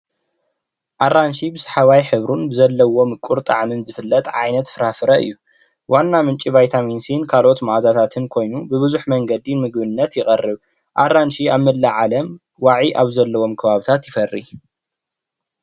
ኣራንሺ ብስ ሓዋይ ሕብሩን ብዘለዎ ምቁር ጣዕምን ዝፍለጥ ዓይነተት ፍራፍረ እዩ ። ዋና ምንጪ ቫይታሚን ሲ ን ካልኦት መኣዛታትን ኮይኑ ብቡዝሕ መንገድነት ይቀርብ። ኣራንሺ ኣብ መላእ ዓለም ዋዒ ኣብ ዘለዎም ከባብታት ይፈሪ ።